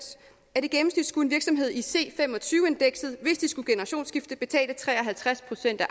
at i gennemsnit skulle en virksomhed i c fem og tyve indekset hvis de skulle generationsskifte betale tre og halvtreds procent af